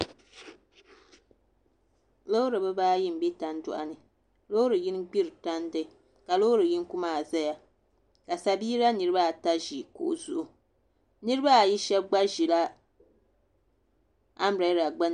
Loori bibaayi n bɛ tandoɣu ni loori yini gbiri tandi ka loori yini maa ʒɛya ka sabiila nirabaata ʒi kuɣu zuɣu nirabaayi shab gba ʒila anbirɛla gbunni